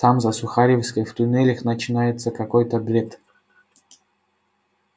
там за сухаревской в туннелях начинается какой-то бред